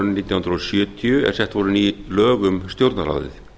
nítján hundruð sjötíu er sett voru ný lög um stjórnarráðið